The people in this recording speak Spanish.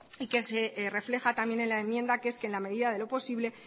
y que se refleja también en la enmienda que es que en la medida de lo posible